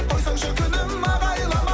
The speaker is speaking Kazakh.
қойсаңшы күнім ағайламай